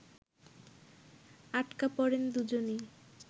আটকা পড়েন দুজনই